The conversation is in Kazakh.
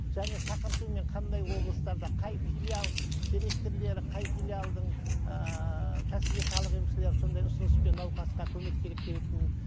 және шақыртумен қандай облыстарда қай филиал директорлары қай филиалдың ыыы кәсіби халық емшілері сондай ұсыныспен науқасқа көмек керек